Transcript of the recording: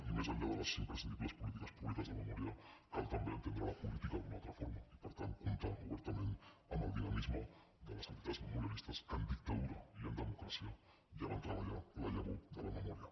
i més enllà de les imprescindibles polítiques públiques de memòria cal també entendre la política d’una altra forma i per tant comptar obertament amb el dinamisme de les entitats memorialistes que en dictadura i en democràcia ja van treballar la llavor de la memòria